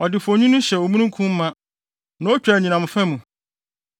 Ɔde fuonwini hyɛ omununkum ma; na otwa nʼanyinam fa mu.